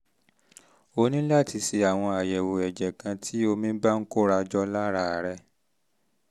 o ní láti ṣe àwọn àyẹ̀wò ẹ̀jẹ̀ kan tí omi bá ń kóra jọ lára rẹ